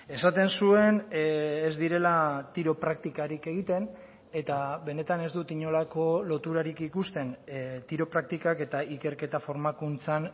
esaten zuen ez direla tiro praktikarik egiten eta benetan ez dut inolako loturarik ikusten tiro praktikak eta ikerketa formakuntzan